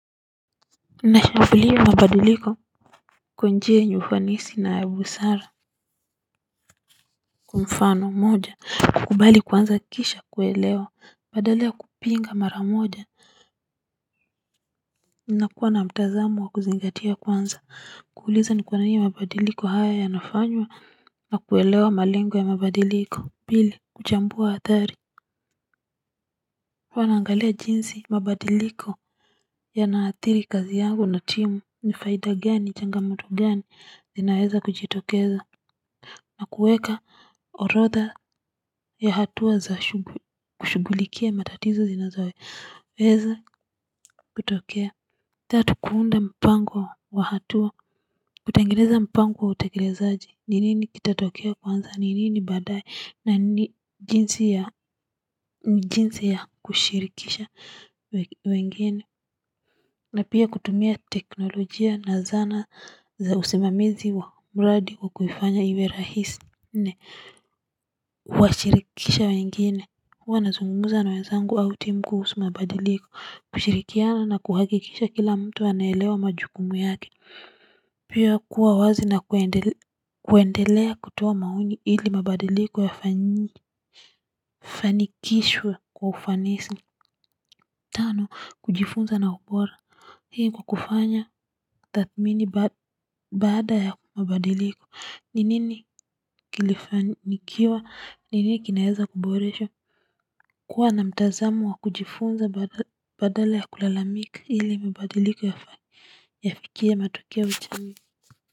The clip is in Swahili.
Nashambulia mabadiliko. Kwa njia yenye ufanisi na ya busara kwa mfano moja kukubali kwanza kisha kuelewa badala ya kupinga mara moja na kuwa na mtazamo wa kuzingatia kwanza. Kuuliza ni kwa nini mabadiliko hayo yanafanywa. Na kuelewa malengo ya mabadiliko pili kuchambua hatari huwa naangalia jinsi mabadiliko yanaathiri kazi yangu na timu ni faida gani changamoto gani zinaweza kujitokeza. Na kuweka orodha ya hatua za kushughulikia matatizo zinazo. Weza kutokea. Tatu kuunda mpango wa hatua. Kutengeneza mpango wa utekelezaji. Ni nini kitatokea kwanza, ni nini baadaye, na jinsi ya kushirikisha wengine. Na pia kutumia teknolojia na zana za usimamizi wa mradi kwa kuifanya iwe rahisi. Nne, huwashirikisha wengine. Huwa nazungumza na wenzangu au timu kuhusu mabadiliko. Kushirikiana na kuhakikisha kila mtu anaelewa majukumu yake. Pia kuwa wazi na kuendelea kutoa maoni ili mabadiliko yafanikishwe kwa ufanisi. Tano, kujifunza na ubora. Hii hukufanya tathmini baada ya mabadiliko ni nini kilifanikiwa ni nini kinaweza kuboresha kuwa na mtazamo wa kujifunza badala ya kulalamika ili mabadiliko yafikie matukio ya jamii.